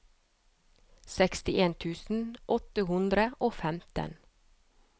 sekstien tusen åtte hundre og femten